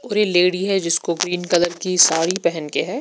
पूरी लेडी है जिसको ग्रीन कलर की साडी पेहन के है--